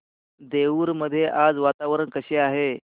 देऊर मध्ये आज वातावरण कसे आहे